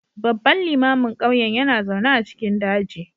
Babban limamin ƙauyen yana zaune a cikin daji